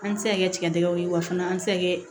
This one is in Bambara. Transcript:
An ti se ka kɛ tigɛdɛgɛw ye wa fana an ti se ka kɛ